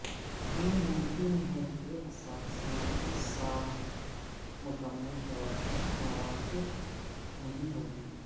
یہ ممکن ہے کہ اثاثوں کی ساخت مکمل طور پر موافق نہیں ہوگی